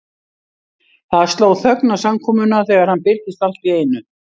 Það sló þögn á samkomuna þegar hann birtist allt í einu.